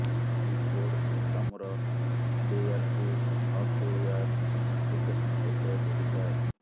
ଏହି କୋଡ୍ ସିଷ୍ଟମ୍ର ହାଡ୍ୱେୟାର୍କୁ ସଫ୍ଟୱେୟାର ଅପ୍ଲିକେସନ୍ ସହିତ ଯୋଡ଼ିଥାଏ